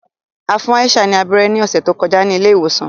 A fun Aisha ni abẹrẹ ni ọsẹ to kọja ni ile-iwosan.